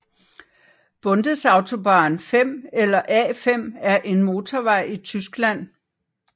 Bundesautobahn 5 eller A 5 er en motorvej i Tyskland